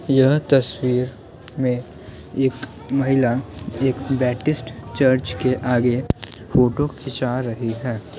यह तस्वीर में एक महिला एक चर्च के आगे फ़ोटो खिंचा रही है।